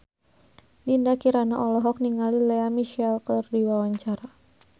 Dinda Kirana olohok ningali Lea Michele keur diwawancara